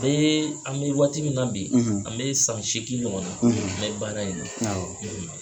an bɛ waati min na bi an bɛ san seegin ɲɔgɔn na n bɛ baara in na.